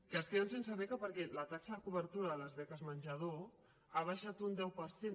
que es queden sense beca perquè la taxa de cobertura de les beques menjador ha baixat un deu per cent